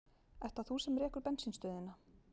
Ert það þú sem rekur bensínstöðina?